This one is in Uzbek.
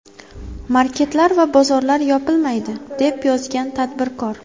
Marketlar va bozorlar yopilmaydi”, deb yozgan tadbirkor.